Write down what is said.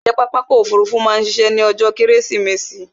Ǹjé pápá ọkò òfurufú ma a ṣiṣẹ́ ní ọjó kẹ́rẹ́sìmẹsì?